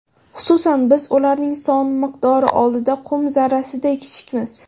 Xususan, biz ularning son miqdori oldida qum zarrasiday kichikmiz.